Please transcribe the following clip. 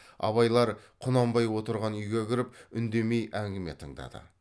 абайлар құнанбай отырған үйге кіріп үндемей әңгіме тыңдады